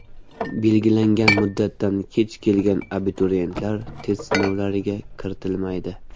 Belgilangan muddatdan kech kelgan abituriyentlar test sinovlariga kiritilmaydi.